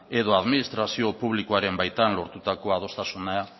edo adminitrazio publikoaren baitan lortutako adostasuna